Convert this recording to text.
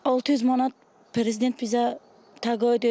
600 manat prezident bizə təqaüd edir.